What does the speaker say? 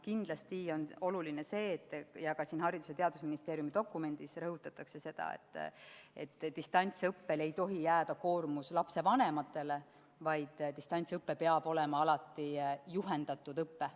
Kindlasti on oluline see – ja ka siin Haridus- ja Teadusministeeriumi dokumendis rõhutatakse seda –, et distantsõppe korral ei tohi jääda koormus lapsevanematele, vaid distantsõpe peab alati olema juhendatud õpe.